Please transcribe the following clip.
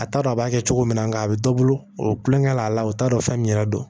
A t'a dɔn a b'a kɛ cogo min na nga a bɛ dɔ bolo o tulonkɛ la o t'a dɔn fɛn min yɛrɛ don